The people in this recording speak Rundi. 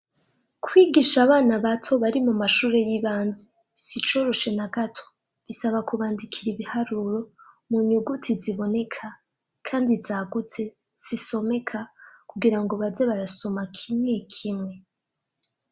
kwigisha abana bato bari mu mashure y'ibanze sicoroshe na gato bisaba kubandikira ibiharuro mu nyuguti ziboneka kandi zagutse zisomeka kugira ngo baze barasoma kimwe kimwe